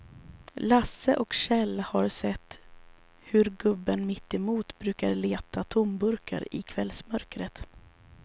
Lasse och Kjell har sett hur gubben mittemot brukar leta tomburkar i kvällsmörkret.